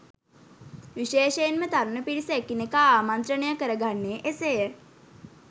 විශේෂයෙන්ම තරුණ පිරිස එකිනෙකා ආමණ්ත්‍රණය කර ගන්නේ එසේය.